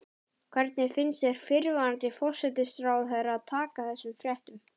Hvernig fannst þér fyrrverandi forsætisráðherra taka þessum fréttum?